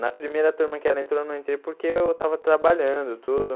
Na primeira turma que ela entrou, eu não entrei porque eu tava trabalhando, tudo.